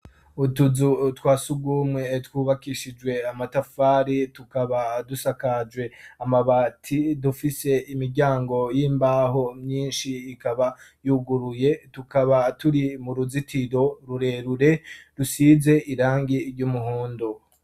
Utuzu twasugumwe twubakishijwe amatafari tukaba dusakajwe amabati dufise imiryango y'imbaho myinshi ikaba yuguruye tukaba turi mu ruzitiro rurerure rusize irangi ry'umuhondo.